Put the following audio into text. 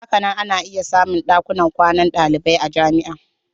Hakanan ana iya samun dakunan kwanan dalibai a jami'a.